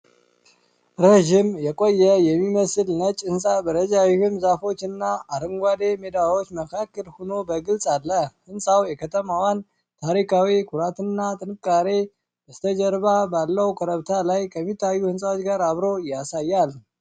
ረዥም፣ የቆየ የሚመስል ነጭ ህንፃ በረጃጅም ዛፎች እና አረንጓዴ ሜዳዎች መካከል ሆኖ በግልፅ አለ። ሕንፃው የከተማዋን ታሪካዊ ኩራትና ጥንካሬ በስተጀርባ ባለው ኮረብታ ላይ ከሚታዩ ሕንፃዎች ጋር አብሮ ያሳያል።